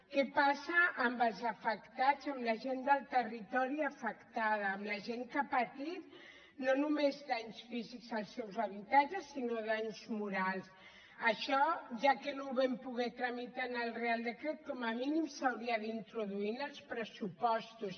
què passa amb els afectats amb la gent del territori afectada amb la gent que ha patit no només danys físics als seus habitatges sinó danys morals això ja que no ho vam poder tramitar en el reial decret com a mínim s’hauria d’introduir en els pressupostos